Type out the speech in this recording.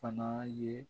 Fana ye